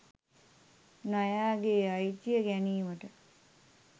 නයාගේ අයිතිය ගැනීමට